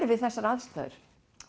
við þessar aðstæður